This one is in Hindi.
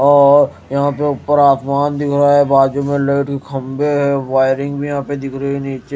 और यहां पे ऊपर आसमान दिख रहा है बाजु में लाइट की खंभे है वायरिंग भी यहां दिख रही है नीचे।